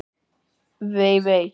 Vei, vei!